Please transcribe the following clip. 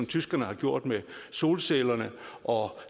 tyskerne har gjort med solcellerne og